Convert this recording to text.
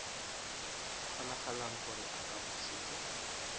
kgonagalang gore a ka busetswa